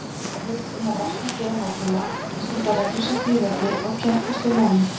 Áheit um að vakna fyrr á morgnana, stunda reglusamt líferni og keppast við námið.